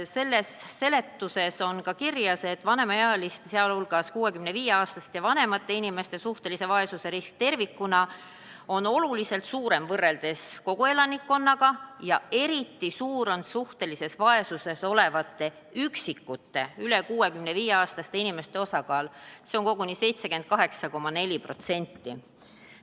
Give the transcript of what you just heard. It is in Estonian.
Riigieelarve seletuskirjas on öeldud, et vanemaealiste, s.o 65-aastaste ja vanemate inimeste suhtelise vaesuse risk tervikuna on oluliselt suurem võrreldes koguelanikkonnaga, eriti suur on aga suhtelises vaesuses olevate üksikute üle 65-aastase inimeste osakaal – koguni 78,4%.